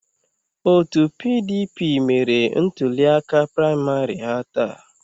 Otu PDP mere ntuliaka praịmarị ha taa.